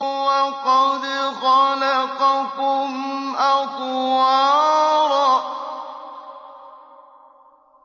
وَقَدْ خَلَقَكُمْ أَطْوَارًا